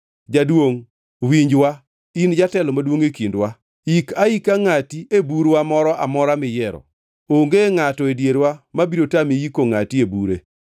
“Jaduongʼ, winjwa in jatelo maduongʼ e kindwa. Ik aika ngʼati e bur-wa moro amora miyiero. Onge ngʼato e dierwa mabiro tami yiko ngʼati e bure.”